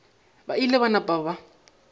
ba ile ba napa ba